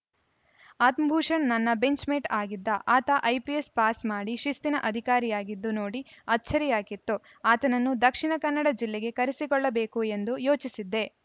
ಆತ್ಮಭೂಷಣ್‌ ನನ್ನ ಬೆಂಚ್‌ಮೆಟ್‌ ಆಗಿದ್ದ ಆತ ಐಪಿಎಸ್‌ ಪಾಸ್‌ ಮಾಡಿ ಶಿಸ್ತಿನ ಅಧಿಕಾರಿಯಾಗಿದ್ದು ನೋಡಿ ಅಚ್ಚರಿಯಾಗಿತ್ತು ಆತನನ್ನು ದಕ್ಷಿಣ ಕನ್ನಡ ಜಿಲ್ಲೆಗೆ ಕರೆಸಿಕೊಳ್ಳಬೇಕು ಎಂದು ಯೋಚಿಸಿದ್ದೆ